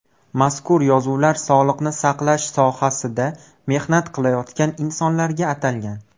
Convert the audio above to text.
Mazkur yozuvlar sog‘liqni saqlash sohasida mehnat qilayotgan insonlarga atalgan.